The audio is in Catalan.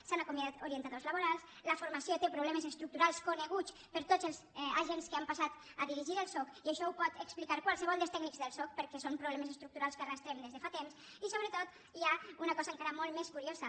s’han acomiadat orientadors laborals la formació té problemes estructurals coneguts per tots els agents que han passat a dirigir el soc i això ho pot explicar qualsevol dels tècnics del soc perquè són problemes estructurals que arrosseguem des de fa temps i sobretot hi ha una cosa encara molt més curiosa